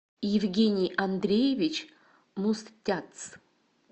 евгений андреевич мустяц